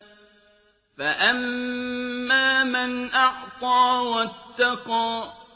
فَأَمَّا مَنْ أَعْطَىٰ وَاتَّقَىٰ